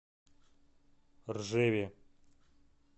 ржеве